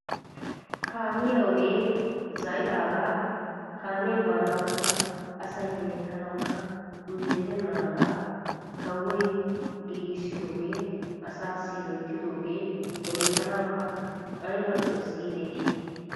Kaamiyaa ogee za"idagaa asay hemettanawukka injjetenagaa kawoy giggisidogee asassi hemettanawukka ayba lo"ees gidetii!